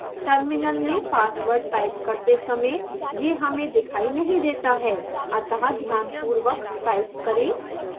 terminal में password type करते समय यह हमें दिखाई नहीं देता है अतः ध्यानपूर्वक टाइप करें